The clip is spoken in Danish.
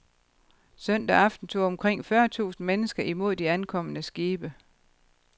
Søndag aften tog omkring fyrre tusind mennesker imod de ankommende skibe.